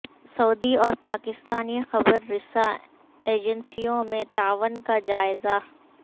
سعودی اور پاکستانی خبر رساں ایجنسیوں میں تعاون کا جائزہ